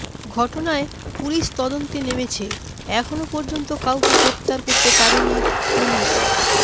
ঘটনায় পুলিশ তদন্তে নেমেছে এখনও পর্যন্ত কাউকে গ্রেফতার করতে পারেনি পুলিশ